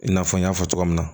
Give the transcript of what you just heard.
I n'a fɔ n y'a fɔ cogoya min na